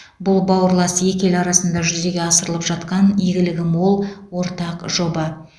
бұл бауырлас екі ел арасында жүзеге асырылып жатқан игілігі мол ортақ жоба